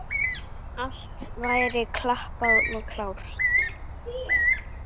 Allt væri klappað og klárt.